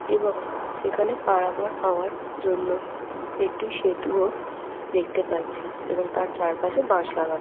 এবং সেখানে পারাবার হবার জন্য একটি সেতুও দেখতে পাচ্ছি এবং তার চারপাশে বাস লাগানো।